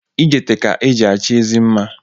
Ijete ka e ji achọ ezi mma